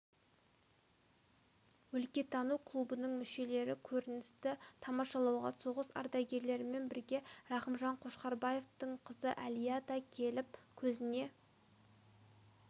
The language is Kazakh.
өлкетану клубының мүшелері көріністі тамашалауға соғыс ардагерлерімен бірге рақымжан қошқарбаевтың қызы әлия да келіп көзіне